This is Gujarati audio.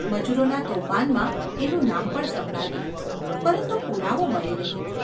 મજૂરોનાં તોફાનોમાં એનું નામ પણ સંભળાતું, પરંતુ પુરાવો મળે નહિ.